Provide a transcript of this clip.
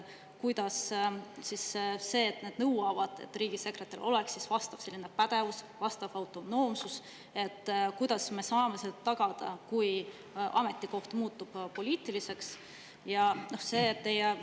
Kuidas me saame tagada neid nõudeid, et riigisekretäril on vastav pädevus ja vastav autonoomsus, kui ametikoht muutub poliitiliseks?